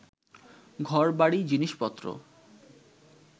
ঘর-বাড়ি, জিনিস-পত্র